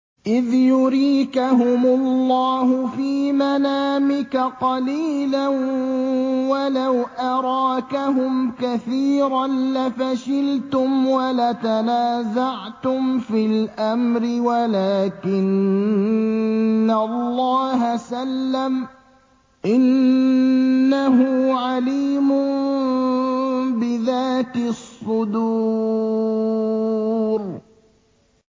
إِذْ يُرِيكَهُمُ اللَّهُ فِي مَنَامِكَ قَلِيلًا ۖ وَلَوْ أَرَاكَهُمْ كَثِيرًا لَّفَشِلْتُمْ وَلَتَنَازَعْتُمْ فِي الْأَمْرِ وَلَٰكِنَّ اللَّهَ سَلَّمَ ۗ إِنَّهُ عَلِيمٌ بِذَاتِ الصُّدُورِ